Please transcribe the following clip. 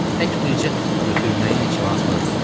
Tək bircə, götürməyin heç lazım da deyil.